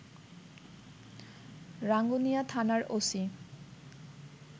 রাঙ্গুনিয়া থানার ওসি